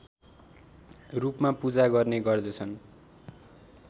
रूपमा पूजा गर्ने गर्दछन्